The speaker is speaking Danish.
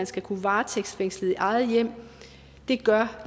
skal kunne varetægtsfængsles i eget hjem gør